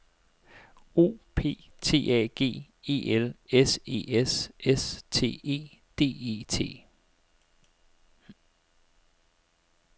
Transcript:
O P T A G E L S E S S T E D E T